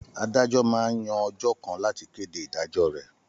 Àdájò mà n yàn òjò kàn làtí kédé idájò rè